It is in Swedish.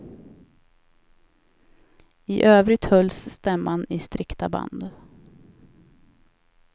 I övrigt hölls stämman i strikta band.